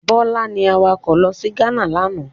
Bọlá ní awakọ̀ lọ sí Ghana lánàá.